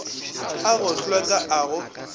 a go hlweka a go